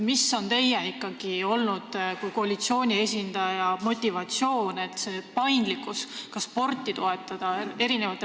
Mis on ikkagi teie kui koalitsiooni esindaja motivatsioon, et spordi toetamise paindlikkus väheneb?